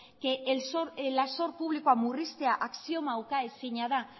zor publikoa murriztea axioma ukaezina da